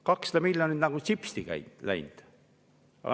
200 miljonit nagu sipsti läinud.